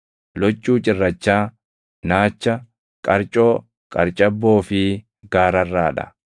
loccuu cirrachaa, naacha, qarcoo, qarcabboo fi gaararraa dha.